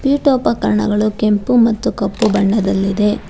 ಪೀಠೋಪಕರಣಗಳು ಕೆಂಪು ಮತ್ತು ಕಪ್ಪು ಬಣ್ಣದಲ್ಲಿದೆ.